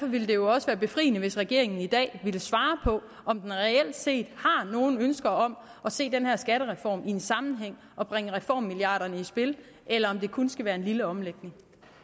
ville det jo også være befriende hvis regeringen i dag ville svare på om den reelt set har nogen ønsker om at se den her skattereform i en sammenhæng og bringe reformmilliarderne i spil eller om det kun skal være en lille omlægning